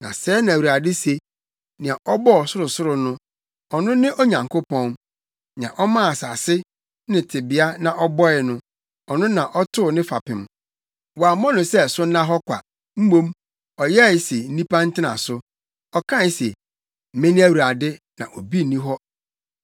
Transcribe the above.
Na sɛɛ na Awurade se, nea ɔbɔɔ ɔsorosoro no ɔno ne Onyankopɔn; nea ɔmaa asase, ne tebea na ɔbɔe no, ɔno na ɔtoo ne fapem; wammɔ no sɛ so nna hɔ kwa, mmom, ɔyɛe se nnipa ntena so, ɔka se: “Mene Awurade, na obi nni hɔ.